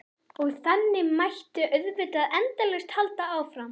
Og þannig mætti auðvitað endalaust halda áfram.